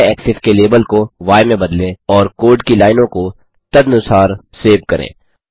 y axis के label को य में बदलें और कोड की लाइनों को तदनुसार सेव करें